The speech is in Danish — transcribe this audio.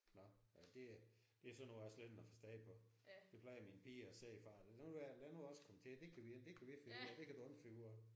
Nåh ja det det sådan noget jeg slet ikke har forstand på. Det plejer mine piger at sige far lad nu være lad nu os komme til det kan vi det kan vi finde ud af det kan du ikke finde ud af